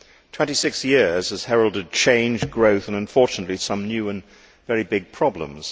Twenty six years has heralded change, growth and unfortunately some new and very big problems.